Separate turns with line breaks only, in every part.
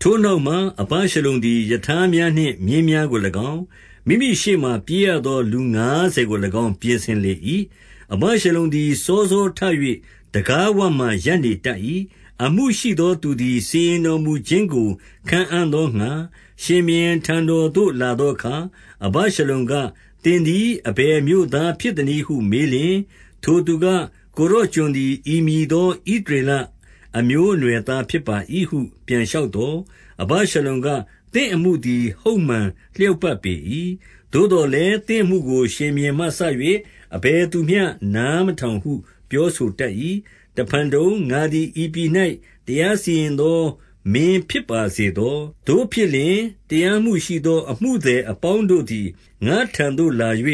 ထိုနောက်မှအဗရှလုံသည် ရထားများနှင့်မြင်းများကို၎င်း၊ မိမိရှေ့မှာ ပြေးရသောလူငါးဆယ်ကို၎င်း ပြင်ဆင်လေ၏။ အဗရှလုံသည် စောစောထ၍ တံခါးဝမှာ ရပ်နေတတ်၏။ အမှုရှိသောသူသည် စီရင်တော်မူခြင်းကို ခံအံ့သောငှါ၊ ရှင်ဘုရင်ထံတော်သို့ လာသောအခါ အဗရှလုံက၊ သင်သည်အဘယ်မြို့သားဖြစ်သနည်းဟု မေးလျှင်၊ ထိုသူက ကိုယ်တော်ကျွန်သည် ဤမည်သော ဣသရေလအမျိုးအနွယ်သားဖြစ်ပါ၏ဟု ပြန်လျှောက်သော်၊ အဗရှလုံက၊ သင့်အမှုသည် ဟုတ်မှန်လျောက် ပတ်ပေ၏။ သို့သော်လည်း သင့်အမှုကို ရှင်ဘုရင်မှစ၍ အဘယ်သူမျှ နားမထောင်ဟု ပြောဆိုတတ်၏။ တဖန်တုံ၊ ငါသည်ဤပြည်၌ တရားစီရင်သော မင်းဖြစ်ပါစေသော။ သို့ဖြစ်လျှင် တရားမှုရှိသော အမှုသည် အပေါင်းတို့သည် ငါ့ထံသို့ လာ၍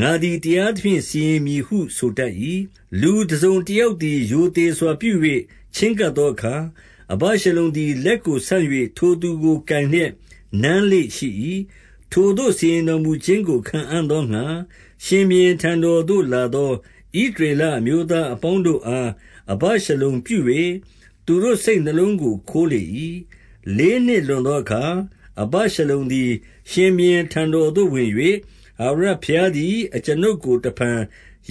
ငါသည် တရားသဖြင့် စီရင်မည်ဟုဆိုတတ်၏။ လူတစုံတယောက်သည် ရိုသေစွာပြု၍ ချဉ်းကပ်သောအခါ၊ အဗရှလုံသည် လက်ကိုဆန့်၍ ထိုသူကို ကိုင်လျက် နမ်းလေ့ရှိ၏။ ထိုသို့စီရင်တော်မူခြင်းကို ခံအံ့သောငှါ၊ ရှင်ဘုရင်ထံတော်သို့လာသော ဣသရေလအမျိုးသား အပေါင်းတို့အား အဗရှလုံပြု၍ သူတို့စိတ်နှလုံးကို ခိုးလေ၏။ လေးနှစ်လွန်သောအခါ အဗရှလုံသည် ရှင်ဘုရင်ထံတော်သို့ ဝင်၍၊ ထာဝရဘုရားသည် အကျွန်ုပ်ကို တဖန်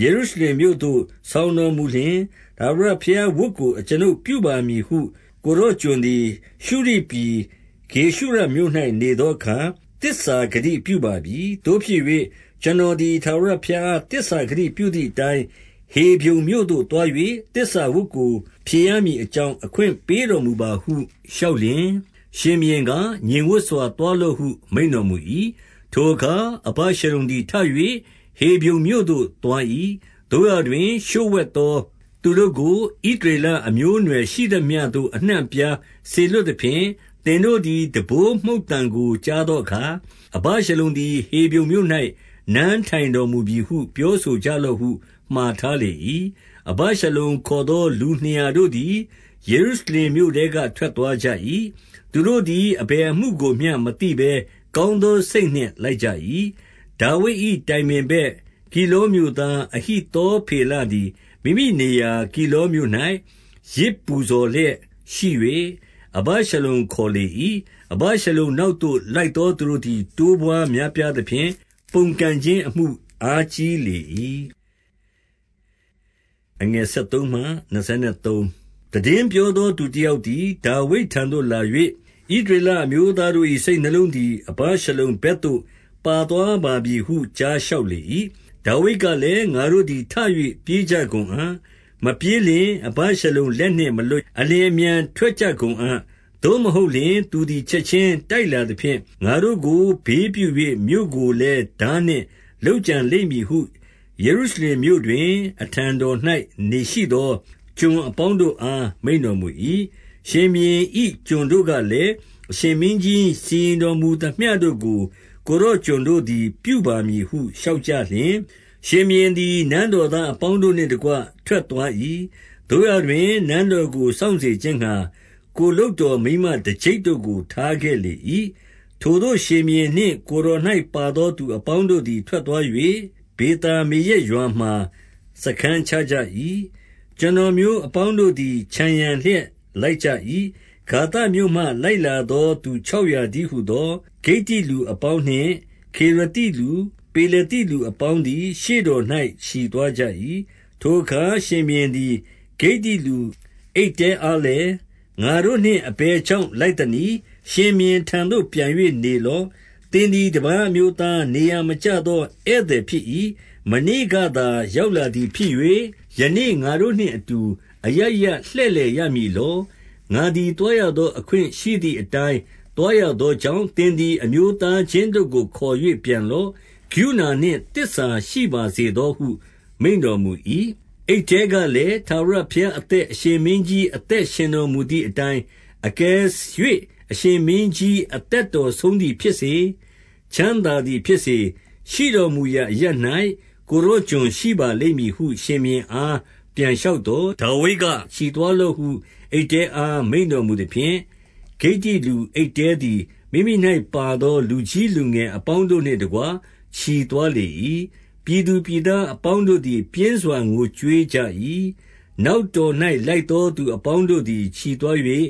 ယေရုရှလင်မြို့သို့ ဆောင်တော်မူလျှင်၊ ထာဝရဘုရားဝတ်ကို အကျွနုပ်ပြုပါမည်ဟု ကိုယ်တော်ကျွန်သည် ရှုရိပြည် ဂေရှုရမြို့၌နေသောအခါ သစ္စာဂတိပြုပါပြီ။ သို့ဖြစ်၍ ကျွန်တော်သည် ထာဝရဘုရားအား သစ္စာဂတိပြုသည်အတိုင်း၊ ဟေဗြုန်မြို့သို့သွား၍ သစ္စာဝတ်ကိုဖြေရမည် အကြောင်း အခွင့်ပေးတော်မူပါဟု လျှောက်လျှင်၊ ရှင်ဘုရင်က၊ ငြိမ်ဝပ်စွာသွားလော့ဟု မိန့်တော်မူ၏။ ထိုအခါ အဗရှလုံသည်ထ၍ ဟေဗြုန်မြို့သို့သွား၏။ သို့ရာတွင် လျှို့ဝှက်သောသူတို့ကို ဣသရေလအမျိုးအနွယ်ရှိသမျှသို့ အနှံ့အပြားစေလွှတ်သဖြင့်၊ သင်တို့ သည် တံပိုးမှုတ်သံကို ကြားသောအခါ အဗရှလုံသည် ဟေဗြုန်မြို့၌ နန်းထိုင်တော်မူပြီဟု ပြောဆိုကြလော့ဟု မှာထားလေ၏။ အဗရှလုံခေါ်သော လူနှစ်ရာတို့သည် ယေရုရှလင်မြို့ထဲက ထွက်သွားကြ၏။ သူတို့သည် အဘယ် အမှုကိုမျှ မသိဘဲကောင်းသော စိတ်နှင့်လိုက်ကြ၏။ ဒါဝိဒ်၏တိုင်ပင်မတ်၊ ဂိလောမြို့သားအဟိသော ဖေလသည် မိမိနေရာဂိလောမြို့၌ ယဇ်ပူဇော်လျက်ရှိ၍ အဗရှလုံခေါ်လေ၏။ အဗရှလုံနောက်သို့ လိုက်သော သူတို့သည် တိုးပွားများပြားသဖြင့် ပုန်ကန်ခြင်းအမှု အားကြီးလေ၏။ သိတင်းပြောသောသူတယောက်သည် ဒါဝိဒ်ထံ သို့လာ၍၊ ဣသရေလအမျိုးသားတို့၏ စိတ်နှလုံးသည် အဗရှလုံဘက်သို့ ပါသွားပါပြီဟု ကြားလျှောက်လေ၏။ ဒါဝိဒ်ကလည်း၊ ငါတို့သည် ထ၍ပြေးကြကုန်အံ့၊ မပြေးလျှင် အဗရှလုံလက်နှင့်မလွတ်၊ အလျင်အမြန် ထွက်ကြကုန်အံ့။ သို့မဟုတ်လျှင် သူသည် ချက်ခြင်းတိုက်လာသဖြင့်၊ ငါတို့ကို ဘေးပြု၍ မြို့ကိုလည်း ထားနှင့် လုပ်ကြံလိမ့်မည်ဟု ယေရုရှလင်မြို့တွင် အထံတော်၌ရှိသော ကျွန်အပေါင်းတို့အား မိန့်တော်မူ၏။ ရှင်ဘုရင်၏ ကျွန်တို့ကလည်း၊ အရှင်မင်းကြီး စီရင်တော်မူသမျှတို့ကို ကိုယ်တော်ကျွန်တို့သည် ပြုပါမည် ဟုလျှောက်ကြလျှင်၊ ရှင်ဘုရင်သည် နန်းတော်သားအပေါင်း တို့နှင့်တကွ ထွက်သွား၏။ သို့ရာတွင် နန်းတော်ကို စောင့်စေခြင်းငှါ၊ ကိုယ်လုပ်တော် မိန်းမတကျိပ်တို့ကို ထားခဲ့လေ၏။ ထိုသို့ရှင်ဘုရင်နှင့် ကိုယ်တော်၌ပါသောသူ အပေါင်းတို့သည် ထွက်သွား၍ ဗေသာမေရက်ရွာမှာ စားခန်းချကြ၏။ ကျွန်တော်မျိုးအပေါင်းတို့သည် ခြံရံလျက် လိုက်ကြ၏။ ဂါသမြို့မှ လိုက်လာသော သူခြောက်ရာ တည်းဟူသော ဂိတ္တိလူအပေါင်းနှင့် ခေရသိလူ၊ ပေလသိ လူအပေါင်းသည် ရှေ့တော်၌ ချီသွားကြ၏။ ထိုအခါ ရှင်ဘုရင်သည် ဂိတ္တိလူအိတ္တဲအားလည်း၊ ငါတို့နှင့် အဘယ်ကြောင့် လိုက်သနည်း။ ရှင်ဘုရင်ထံသို့ ပြန်၍နေလော့။ သင်သည် တပါးအမျိုးသား၊ နေရာမကျ သော ဧည့်သည်ဖြစ်၏။ မနေ့ကသာရောက်လာသည်ဖြစ်၍၊ ယနေ့ငါတို့ နှင့်အတူ အရပ်ရပ်လှည့်လည်ရမည်လော။ ငါသည် သွားရသော အခွင့်ရှိသည်အတိုင်း သွားရသောကြောင့်၊ သင်သည် အမျိုးသားချင်းတို့ကို ခေါ်၍ ပြန်လော့။ကရုဏာနှင့် သစ္စာရှိပါစေသောဟု မိန့်တော်မူ၏။ အိတ္တဲကလည်း၊ ထာဝရဘုရားအသက်၊ အရှင် မင်းကြီးအသက် ရှင်တော်မူသည်အတိုင်း၊ အကယ်၍ အရှင်မင်းကြီး အသကတော်ဆုံးသည်ဖြစ်စေ၊ ချမ်းသာသည်ဖြစ်စေ၊ ရှိတော်မူရာအရပ်၌ ကိုယ်တော်ကျွန်ရှိပါ လိမ့်မည်ဟု ရှင်ဘုရင်အား ပြန်လျှောက်သော်၊ ဒါဝိဒ်က၊ ချီသွားလော့ဟု အိတ္တဲအား မိန့်တော်မူသဖြင့်၊ ဂိတ္တိလူအိတ္တဲသည် မိမိ၌ပါသော လူကြီးလူငယ် အပေါင်းတို့နှင့်တကွ ချီသွားလေ၏။ ပြည်သူပြည်သားအပေါင်းတို့သည် ပြင်းစွာငိုကြွေးကြ၏။ နောက်တော်၌ လိုက်သောသူအပေါင်းတို့ သည် ချီးသွား၍၊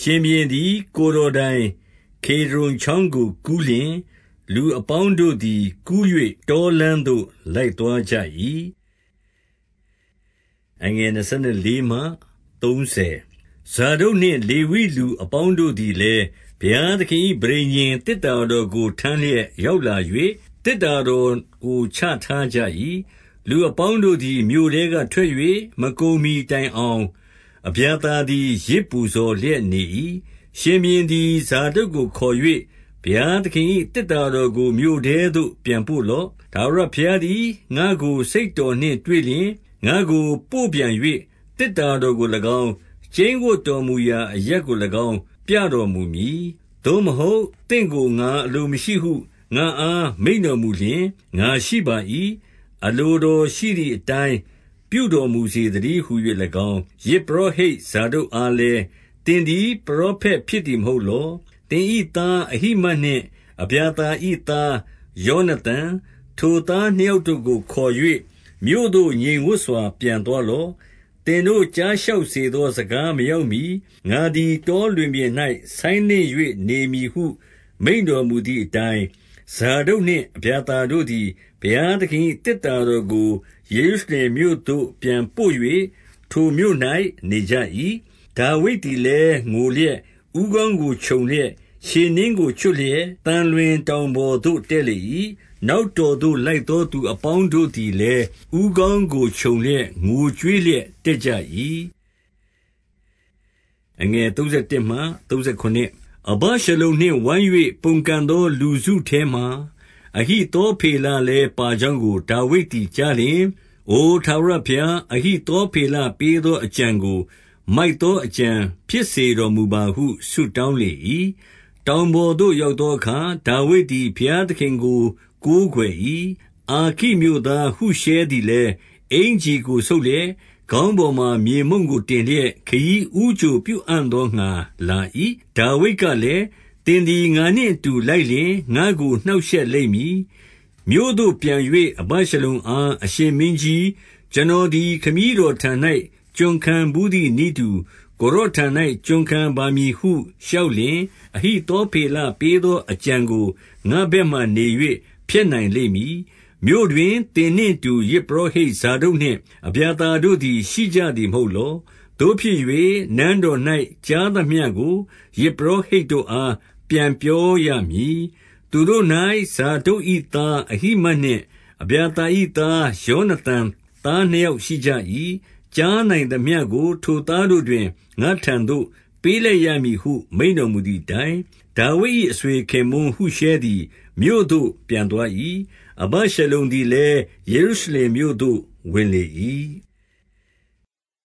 ရှင်ဘုရင်သည် ကိုယ်တော်တိုင် ကေဒြုန်ချောင်းကိုကူးလျှင်၊ လူအပေါင်းတို့သည် ကူ၍တောလမ်း သို့ လိုက်သွားကြ၏။ ဇာဒုတ်နှင့် လေဝိလူအပေါင်းတို့သည်လည်း ဘုရားသခင်၏ ပဋိညာဉ်သေတ္တာတော်ကို ထမ်းလျက် ရောက်လာ၍ သေတ္တာတော်ကို ချထားကြ၏။ လူအပေါင်းတို့သည် မြို့ထဲကထွက်၍ မကုန်မှီတိုင်အောင် အဗျာသာသည် ယဇ်ပူဇော်လျက် နေ၏။ ရှင်ဘုရင်သည် ဇာဒုတ်ကိုခေါ်၍၊ ဘုရားသခင်၏ သေတ္တာတော်ကို မြို့ထဲသို့ ပြန်ပို့လော့။ ထာဝရ ဘုရားသည် ငါ့ကို စိတ်တော်နှင့်တွေ့လျှင် ငါ့ကိုပို့ပြန်၍ သေတ္တာတော်ကို၎င်း၊ ကျိန်းဝပ်တော်မူရာ အရပ်ကို၎င်း ပြတော်မူမည်။ သို့မဟုတ် သင့်ကိုငါအလိုမရှိဟု ငါ့အားမိန့်တော်မူလျှင် ငါရှိပါ၏။ အလိုတော်ရှိသည်အတိုင်း ပြုတော်မူစေသတည်းဟူ၍၎င်း၊ ယဇ်ပုရောဟိတ် ဇာဒုတ်အားလည်း သင်သည် ပရောဖက်ဖြစ်သည်မဟုတ်လော။ သင်၏သား အဟိမတ် နှင့် အဗျာသာ၏သား ယောနသန်၊ ထိုသားနှစ်ယောက်ကို ခေါ်၍ မြို့သို့ငြိမ်ဝပ်စွာ ပြန်သွားလော့။ သင်တို့ကြားလျှောက်စေသော စကားမရောက်မှီ ငါသည်တော လွင်ပြင်၌ ဆိုင်းလင့်၍နေမည်ဟု မိန့်တော် မူသည်အတိုင်း၊ ဇာဒုတ်နှင့် အဗျာသာတို့သည် ဘုရားသခင်၏ သေတ္တာတော်ကို ယေရုရှလင်မြို့သို့ ပြန်ပို့၍ ထိုမြို့၌ နေကြ၏။ ဒါဝိဒ်သည်လည်း ငိုလျက်၊ ဦးခေါင်းကို ခြုံလျက်၊ ခြေနင်းကိုချွတ်လျက် သံလွင်တောင်ပေါ်သို့ တက်လေ ၏။ နောက်တော်၌ လိုက်သောသူအပေါင်းတို့သည်လည်း ဦးခေါင်းကိုခြုံလျက် ငိုကြွေးလျက် တတ်ကြ၏။ အဗရှလုံနှင့်ဝိုင်း၍ ပုန်ကန်သော လူစုထဲမှာ၊ အဟိသောဖေလလည်း ပါကြောင်းကို ဒါဝိဒ်သည် ကြား လျှင်၊ အိုထာဝရဘုရား၊ အဟိသော ဖေလပေးသောအကြံကို မိုက်သောအကြံဖြစ်စေတော်မူပါဟု ဆုတောင်းလေ၏။ တောင်ပေါ်သို့ ရောက်သောအခါ ဒါဝိဒ်သည် ဘုရားသခင်ကို ကိုးကွယ်၏။ အာခိမြို့သားဟုရှဲသည် လည်း အင်္ကျီကိုဆုတ်လျက် ခေါင်းပေါ်မှာ မြေမှုန့်ကို တင်လျက် ခရီးဦးကြိုပြုအံ့သောငှါ လာ၏။ ဒါဝိဒ်ကလည်း၊ သင်သည်ငါနှင့်အတူ လိုက်လျှင် ငါ့ကို နှောက်ရှက်လိမ့်မည်။ မြို့သို့ပြန်၍ အဗရှလုံအား၊ အရှင်မင်းကြီး၊ ကျွန်တော်သည် ခမည်းတော်ထံ၌ ကျွန်ခံဘူးသည်နည်းတူ ကိုယ်တော်ထံ၌ ကျွန်ခံပါမည်ဟု လျှောက်လျှင်၊ အဟိသောဖေလ ပေး သော အကြံကို ငါ့ဘက်မှာနေ၍ ဖျက်နိုင်လိမ့်မည်။ မြို့တွင်သင်နှင့်အတူ ယဇ်ပုရောဟိတ်ဇာဒုတ် နှင့် အဗျာသာတို့သည် ရှိကြသည်မဟုတ်လော။ သို့ဖြစ်၍ နန်းတော်၌ ကြားသမျှကို ယဇ်ပုရောဟိတ်တို့အား ပြန် ပြောရမည်။ သူတို့၌ ဇာဒုတ်၏သား အဟိမတ်နှင့် အဗျာသာ၏သား ယောနသန်သားနှစ်ယောက်ရှိကြ၏။ ကြားနိုင်သမျှကို ထိုသားတို့တွင် ငါ့ထံသို့ ပေးလိုက်ရမည်ဟု မိန့်တော်မူ သည်အတိုင်း၊ ဒါဝိဒ်၏ အဆွေခင်ပွန်းဟုရှဲသည် မြို့သို့ပြန်သွား၏။ အဗေရှလုံသည်လည်း ယေရုရှလင်မြို့သို့ ဝင်လေ၏။